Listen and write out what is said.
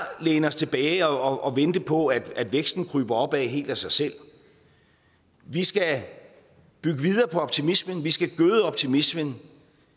læne os tilbage og vente på at væksten kryber opad helt af sig selv vi skal bygge videre på optimismen vi skal gøde optimismen